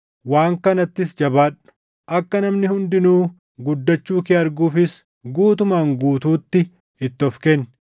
Waan kanattis jabaadhu; akka namni hundinuu guddachuu kee arguufis guutumaan guututti itti of kenni.